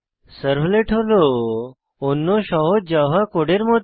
servlet হল অন্য সহজ জাভা কোডের মত